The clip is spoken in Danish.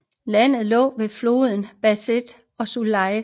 Landet lå ved floderne Beas og Sutlej